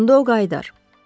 Onda o qayıdar.